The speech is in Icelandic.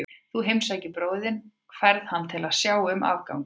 Þú heimsækir bróður þinn og færð hann til að sjá um afganginn.